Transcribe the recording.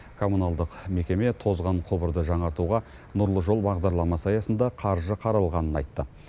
коммуналдық мекеме тозған құбырды жаңартуға нұрлы жол бағдарламасы аясында қаржы қаралғанын айтты